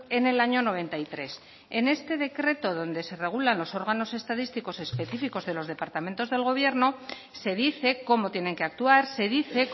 en el año noventa y tres en este decreto donde se regulan los órganos estadísticos específicos de los departamentos del gobierno se dice cómo tienen que actuar se dice